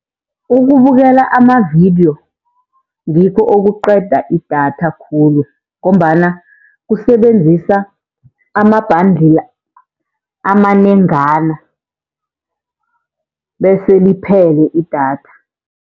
Ukubukela amavidiyo ngikho okuqeda idatha khulu, ngombana kusebenzisa ama-bundle amanengana bese liphele idatha.